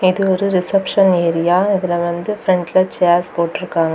இது ஒரு reception area இதுல வந்து பிரண்ட்ல சேஸ் போட்டிருக்காங்க.